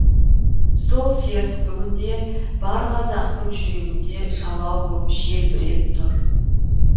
сол серт бүгінде бар қазақтың жүрегінде жалау боп желбіреп тұр